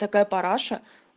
такая параша